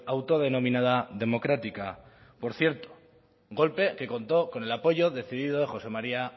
autodenominada democrática por cierto golpe que contó con el apoyo decidido de josé maría